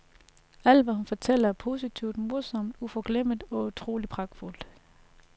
Alt hvad hun fortæller er positivt, morsomt, uforglemmeligt og utroligt pragtfuldt.